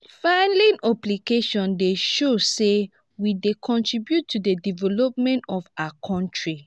filing obligations dey show say we dey contribute to the development of our country.